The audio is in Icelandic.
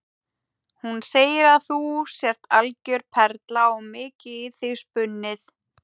Hún segir að þú sért algjör perla og mikið í þig spunnið.